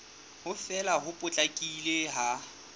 ho fela ho potlakileng ha